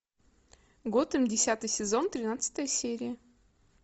готэм десятый сезон тринадцатая серия